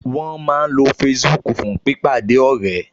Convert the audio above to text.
Wọ́n máa ń lo Facebook fún pípàdé ọ̀rẹ́